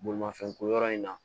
Bolimafɛn ko yɔrɔ in na